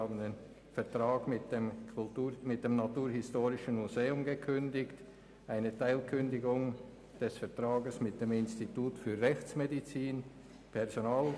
Der Vertrag mit dem Naturhistorischen Museum wurde gekündigt, und eine Teilkündigung des Vertrags mit dem Institut für Rechtsmedizin liegt ebenfalls vor.